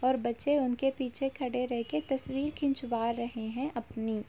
और बच्चे उनके पीछे खड़े रहकर तस्वीर खिंचवा रहे हैं अपनी।